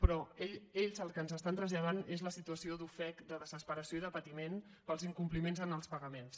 però ells el que ens estan traslladant és la situació d’ofec de desesperació i de patiment pels incompliments en els pagaments